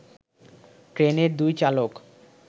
ট্রেনের দুই চালক